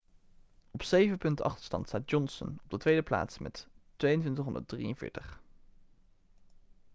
op zeven punten achterstand staat johnson op de tweede plaats met 2.243